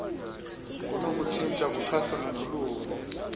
kunokutshintsha kuchasene noluvo